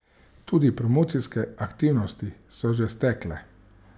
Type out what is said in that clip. Tudi promocijske aktivnosti so že stekle.